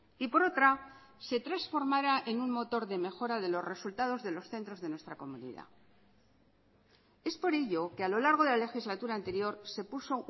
y por otra que se transformara en un motor de mejora de los resultados de los centros de nuestra comunidad es por ello que a lo largo de la legislatura anterior se puso